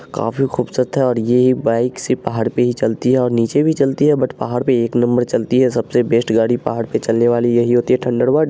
काफी खूबसूरत है और यह बाइक सिर्फ पहाड़ पे ही चलती है और नीचे भी चलती है बट पहाड़ पर एक नंबर चलती है सबसे बेस्ट गाड़ी पहाड़ पर चढ़ने वाली यही होती है--